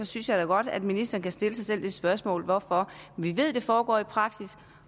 synes jeg da godt at ministeren kan stille sig selv spørgsmålet hvorfor vi ved det foregår i praksis